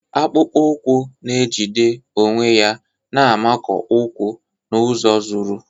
Akpụkpọ ụkwụ na-ejide onwe ya na-amakụ ụkwụ n'ụzọ zuru.